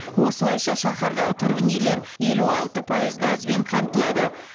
осылайша шаһардағы тұрғын үйлер елу алты пайыз газбен қамтылады